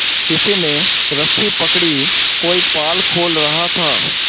किसी ने रस्सी पकड़ी कोई पाल खोल रहा था